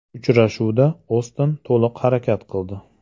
Uchrashuvda Oston to‘liq harakat qildi.